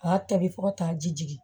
A y'a tobi fo ka taa ji jigin